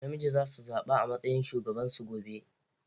Namiji za su zaɓa a matsayin shugaban su gobe.